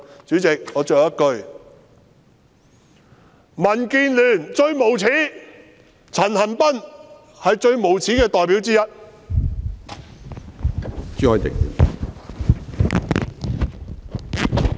主席，我說最後一句，民建聯最無耻，陳恒鑌是最無耻的代表之一！